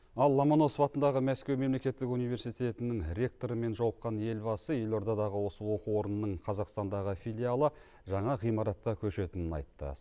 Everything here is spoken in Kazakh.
ал ломоносов атындағы мәскеу мемлекеттік университетінің ректорымен жолыққан елбасы елордадағы осы оқу орнының қазақстандағы филиалы жаңа ғимаратқа көшетінін айтты